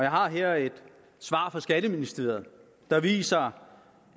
har her et svar fra skatteministeriet der viser